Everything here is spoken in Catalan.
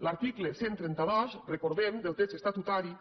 l’article cent i trenta dos recordem del text estatutari